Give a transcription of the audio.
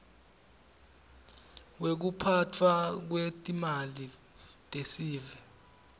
wekuphatfwa kwetimali tesive